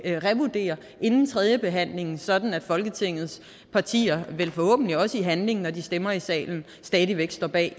revurdere det inden tredjebehandlingen sådan at folketingets partier forhåbentlig også i handling når de stemmer i salen stadig væk står bag